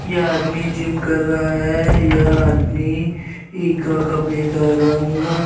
यह आदमी जिम कर रहा है। यह आदमी ई का कपड़े का रंग --